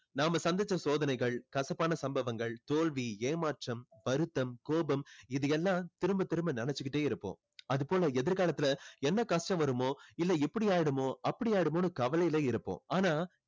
நாம சந்திச்ச சோதனைகள் கசப்பான சம்பவங்கள் தோல்வி ஏமாற்றம் வருத்தம் கோபம் இது எல்லாம் திரும்ப திரும்ப நினைச்சிக்கிட்டே இருப்போம் அது போல எதிர் காலத்துல என்ன கஷ்டம் வருமோ இல்ல இப்படி ஆகிடுமோ அப்படி ஆகிடுமோன்னு கவலையில இருப்போம் ஆனா